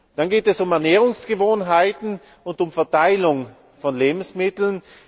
Dann geht es um Ernährungsgewohnheiten und um Verteilung von Lebensmitteln.